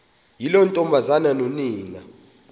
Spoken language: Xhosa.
yiloo ntombazana nonina